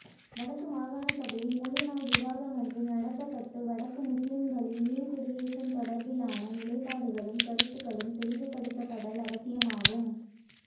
வடக்கு மாகாணசபையில் முழுநாள் விவாதமொன்று நடாத்தப்பட்டு வடக்கு முஸ்லிம்களின் மீள்குடியேற்றம் தொடர்பிலான நிலைப்பாடுகளும் கருத்துக்களும் தெளிவுபடுத்தப்படல் அவசியமாகும்